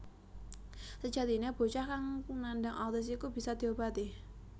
Sejatine bocah kang nandang autis iku bisa diobati